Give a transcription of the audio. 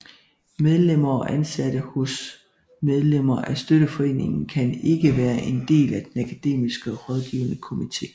Medlemmer og ansatte hos medlemmer af støtteforeningen kan ikke være del af den akademiske rådgivende komite